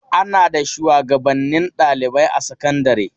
Ana da shuwagabannin ɗalibai a sakandare.